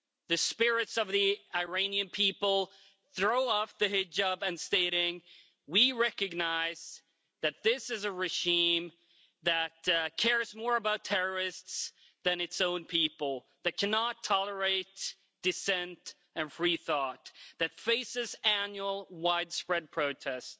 the spirits of the Iranian people, throw off the hijab and state we recognise that this is a regime that cares more about terrorists than its own people, that cannot tolerate dissent and free thought, that faces annual widespread protest,